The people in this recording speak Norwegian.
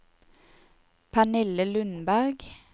Pernille Lundberg